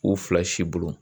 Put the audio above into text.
U fila sibon